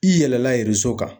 I yɛlɛla kan.